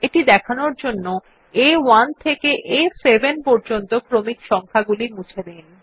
এটি দেখানোর জন্য আ1 থেকে আ7 পর্যন্ত ক্রমিক সংখা গুলি মুছে দিন